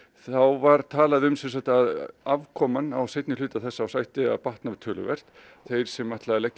var talað um að afkoma á seinni hluta þessa árs ætti að batna töluvert þeir sem ætla að leggja